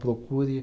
Procure.